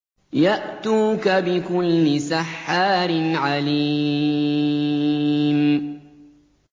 يَأْتُوكَ بِكُلِّ سَحَّارٍ عَلِيمٍ